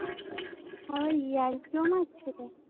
আবার ইয়ার্কিও মারছিল?